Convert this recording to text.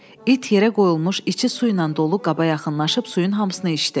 İt yerə qoyulmuş içi su ilə dolu qaba yaxınlaşıb suyun hamısını içdi.